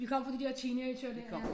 Vi kom fra de der teenagere der ja